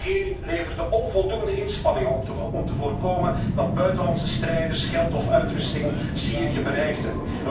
IS. De regering leverde onvoldoende inspanningen om te voorkomen dat buitenlandse strijders, geld of uitrusting Syrië bereikten.